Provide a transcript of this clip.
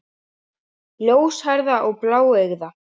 Ljóshærða og bláeygða.